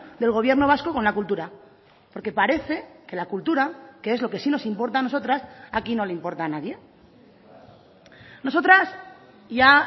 del gobierno vasco con la cultura porque parece que la cultura que es lo que sí nos importa a nosotras aquí no le importa a nadie nosotras ya